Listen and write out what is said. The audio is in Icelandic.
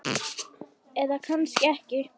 Eða kannski ekki.